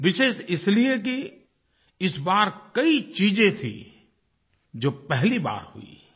विशेष इसलिए कि इस बार कई चीज़ें थी जो पहली बार हुई